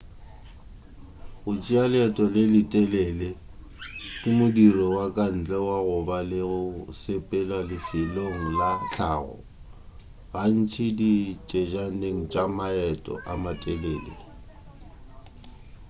go tšea leeto le le telele ke modiro wa ka ntle wa go ba le go sepela lefelong la hlago gantši ditsejaneng tša maeto a matelele